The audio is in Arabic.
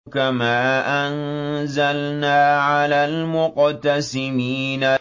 كَمَا أَنزَلْنَا عَلَى الْمُقْتَسِمِينَ